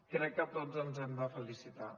crec que tots ens hem de felicitar